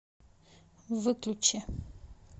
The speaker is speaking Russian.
выключи